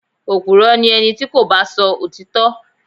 Opùrọ́ ni ẹni tí kò bá sọ òtítọ́.